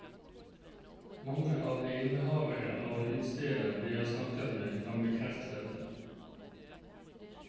Mange av de innehavere av utesteder vi har snakket med, kan bekrefte dette.